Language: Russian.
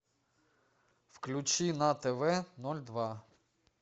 включи на тв ноль два